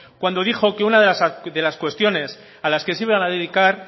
cuando dijo que una de las cuestiones a las que se iban a dedicar